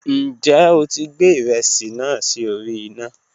Njẹ o ti gbẹ iresi naa si ori ina?